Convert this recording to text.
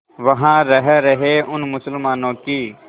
वहां रह रहे उन मुसलमानों की